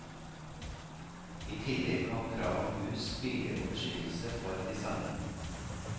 I tillegg kom krav om hus, biler og beskyttelse for de samme.